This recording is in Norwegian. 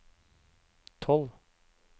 tolv